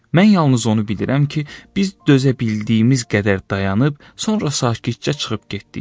Mən yalnız onu bilirəm ki, biz dözə bildiyimiz qədər dayanıb, sonra sakitcə çıxıb getdik.